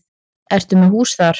Ertu með hús þar?